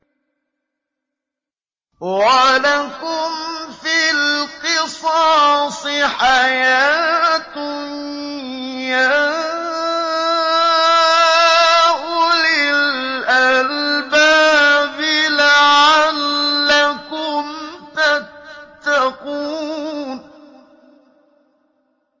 وَلَكُمْ فِي الْقِصَاصِ حَيَاةٌ يَا أُولِي الْأَلْبَابِ لَعَلَّكُمْ تَتَّقُونَ